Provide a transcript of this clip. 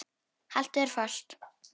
Haltu þér fast.